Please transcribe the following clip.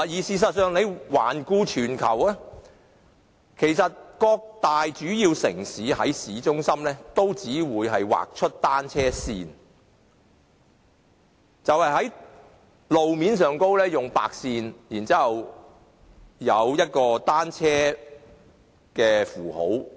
事實上，環顧全球，各大主要城市均只會在市中心劃出單車線，就是在路面劃上白線，然後加上一個單車符號。